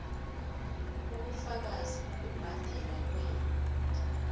ubufakazi bokubhadelwa kwer